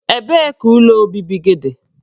Ebee ka ụlọ obibi gị dị?